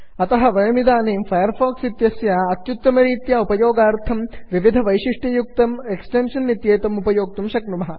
अतः वयमिदानीं Firefox इत्यस्य अत्युत्तमरीत्या उपयोगार्थं विविधवैशिष्ट्ययुक्तम् एक्स्टेन्षन् इत्येतम् उपयोक्तुं शक्नुमः